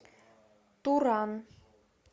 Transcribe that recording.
туран